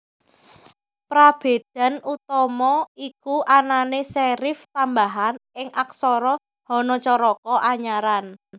Prabédan utama iku anané serif tambahan ing aksara Hanacaraka Anyaran